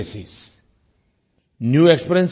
new places new exper